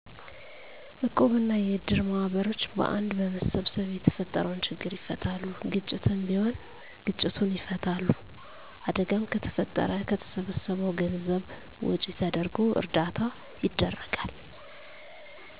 እቁብ እና የእድር ማህበሮች በአንድ በመሰብሰብ የተፈጠረውን ችግር ይፈታሉ። ግጭትም ቢሆን ግጭቱን ይፈታሉ። አደጋም ከተፈጠረም ከተሰበሰበው ገንዘብ ወጭ ተደርጎ እርዳታ ይደረጋል።